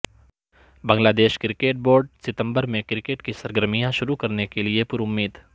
بنگلا دیش cricket board ستمبر میں کرکٹ کی سرگرمیاں شروع کرنے کیلئے پر امید